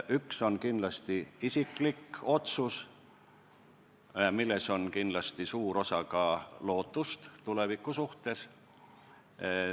Üks on kindlasti isiklik otsus, milles on suur osa ka lootusel tuleviku suhtes.